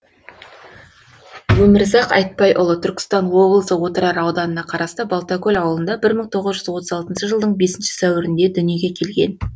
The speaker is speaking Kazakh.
өмірзақ айтбайұлы түркістан облысы отырар ауданына қарасты балтакөл ауылында бір мың тоғыз жүз отыз алтыншы жылдың бесінші сәуірінде дүниеге келген